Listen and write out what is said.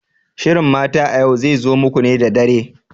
Shirin Mata a Yau zai zo muku ne da dare.